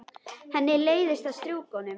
Henni leiðist að strjúka honum.